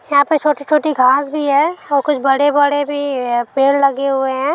यहाँ पे छोटी छोटी घास भी है और कुछ बड़े-बड़े बी पेड़ लगे हुए है ।